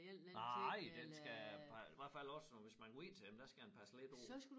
Nej den skal hvert fald også hvis man går ind til dem der skal man passe lidt på